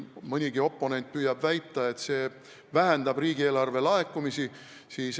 Mõnigi oponent püüab väita, et see vähendab riigieelarve laekumisi.